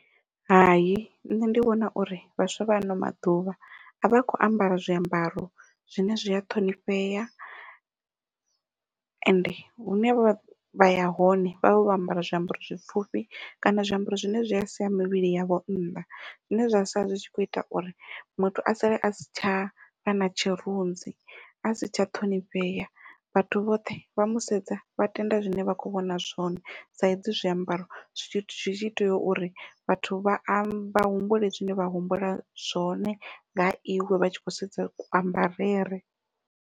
Hai nṋe ndi vhona uri vhaswa vha ano maḓuvha avha kho ambara zwiambaro zwine zwia ṱhonifhea, ende hune vha vha ya hone vhavha vho ambara zwiambaro zwipfhufhi kana zwiambaro zwine zwia siya mivhili yavho nnḓa. Zwine zwa sala zwi tshi kho ita uri muthu a sale a si tsha vha na tshirunzi a si tsha ṱhonifhea vhathu vhoṱhe vha musedze vha tende zwine vha khou vhona zwone ndi saizi zwiambaro zwi tshi tea uri vhathu vha ambe vha humbule zwine vha humbula zwone ngaha iwe vha tshi khou sedza ku ambarele.